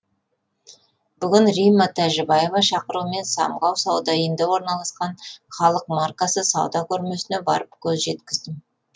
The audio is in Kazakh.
бүгін римма тажибаева шақыруымен самғау сауда үйінде орналасқан халықмаркасы сауда көрмесіне барып көз жеткіздім